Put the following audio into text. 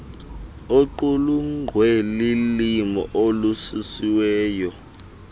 oqulunkqwe lulimo olulungisiweyo